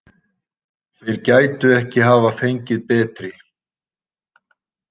Þeir gætu ekki hafa fengið betri.